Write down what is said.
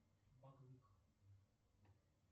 макбук